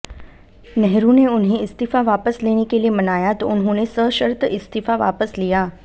नेहरू ने उन्हे इस्तीफा वापस लेेने के लिए मनाया तो उन्होंने सशर्त इस्तीफा वापस लिया